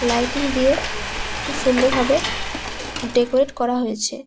Lighting দিয়ে খুব সুন্দর ভাবে ডেকোরেট করা হয়েছে ।